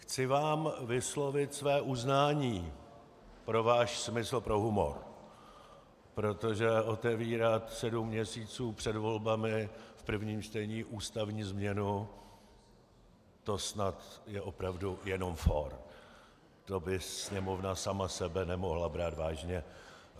Chci vám vyslovit své uznání pro váš smysl pro humor, protože otevírat sedm měsíců před volbami v prvním čtení ústavní změnu, to snad je opravdu jenom fór, to by Sněmovna sama sebe nemohla brát vážně.